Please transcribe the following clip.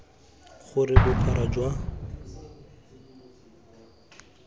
gore bophara jwa tela bo